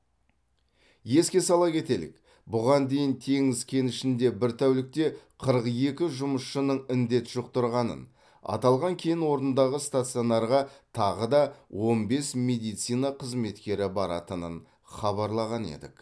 еске сала кетелік бұған дейін теңіз кенішінде бір тәулікте қырық екі жұмысшының індет жұқтырғанын аталған кен орнындағы стационарға тағы да он бес медицина қызметкері баратынын хабарлаған едік